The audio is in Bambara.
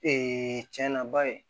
cɛn na ba ye